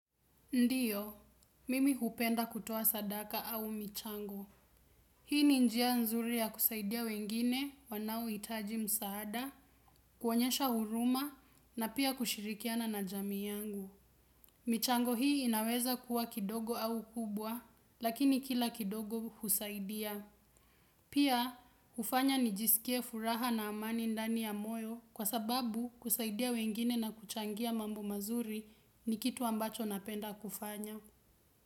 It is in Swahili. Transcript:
Ndiyo, mimi hupenda kutoa sadaka au michango. Hii ni njia nzuri ya kusaidia wengine wanaohitaji msaada, kuonyesha huruma na pia kushirikiana na jamii yangu. Michango hii inaweza kuwa kidogo au kubwa, lakini kila kidogo husaidia. Pia, hufanya nijisikie furaha na amani ndani ya moyo kwa sababu kusaidia wengine na kuchangia mambo mazuri ni kitu ambacho napenda kufanya.